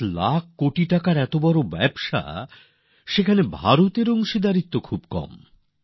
৭ লক্ষ কোটি টাকার এত বড় ব্যবসা অথচ এতে ভারতের অংশিদারিত্ব খুবই কম